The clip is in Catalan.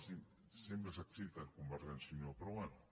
sempre s’exciten convergència i unió però bé